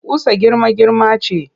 Ƙusa girma-girma ce